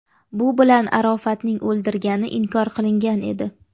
Bu bilan Arofatning o‘ldirilgani inkor qilingan edi.